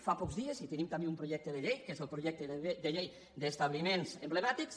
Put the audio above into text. fa pocs dies tenim també un projecte de llei que és el projecte de llei d’establiments emblemàtics